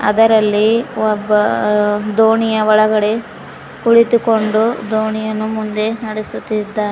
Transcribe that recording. ಅದರಲ್ಲಿ ಒಬ್ಬ ದೋಣಿಯ ಒಳಗಡೆ ಕುಳಿತುಕೊಂಡು ದೋಣಿಯನ್ನು ಮುಂದೆ ನಡೆಸುತ್ತಿದ್ದಾನೆ.